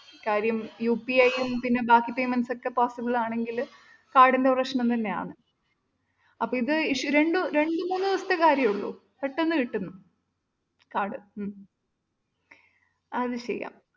അഹ് കാര്യം UPI യും പിന്നെ ബാക്കി payments ഒക്കെ possible ആണെങ്കിൽ കാർഡിൻ്റെ പ്രശ്നം തന്നെയാൺ. അപ്പൊ ഇത് രണ്ട് രണ്ട്മൂന്ന് ദിവസത്തെ കാര്യമെയുള്ളു പെട്ടെന്ന് കിട്ടും കാർഡ് ഉം അഹ് അത് ചെയ്യാം.